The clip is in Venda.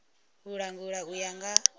u langula u ya nga